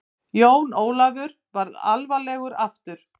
Jón Ólafur varð alvarlegur aftur.